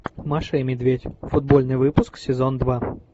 маша и медведь футбольный выпуск сезон два